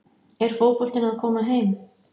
Er fótboltinn að koma heim?